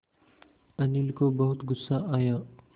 अनिल को बहुत गु़स्सा आया